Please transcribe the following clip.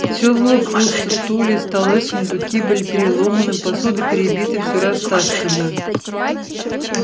все было пусто стулья столы сундуки были переломаны посуда перебита все растаскано